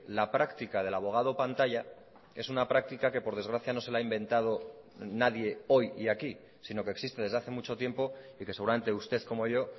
la práctica del abogado pantalla es una práctica que por desgracia no se la ha inventado nadie hoy y aquí si no que existe desde hace mucho tiempo y que seguramente usted como yo